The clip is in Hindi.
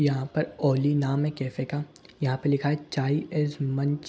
यहां पर औली नाम है कैफे का यहां पे लिखा है चाई एस मंच --